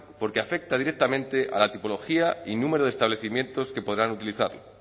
porque afecta directamente a la tipología y número de establecimientos que podrán utilizarlo